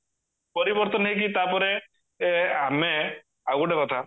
ପରିବର୍ତନ ହେଇକି ତାପରେ ଆମେ ଆଉ ଗୋଟେ କଥା